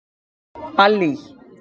Allý